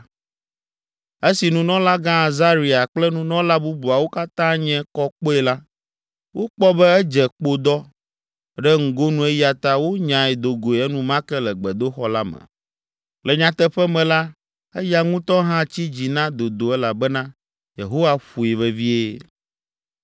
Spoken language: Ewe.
Esi nunɔlagã Azaria kple nunɔla bubuawo katã nye kɔ kpɔe la, wokpɔ be edze kpodɔ ɖe ŋgonu eya ta wonyae do goe enumake le gbedoxɔ la me. Le nyateƒe me la, eya ŋutɔ hã tsi dzi na dodo elabena Yehowa ƒoe vevie.